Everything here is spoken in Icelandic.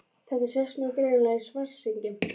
Þetta sést mjög greinilega í Svartsengi.